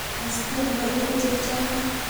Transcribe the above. Tes tiendo eng chachame